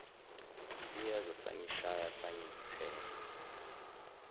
siyeza sangishaya sangithela